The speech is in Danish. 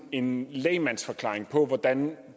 en lægmandsforklaring på hvordan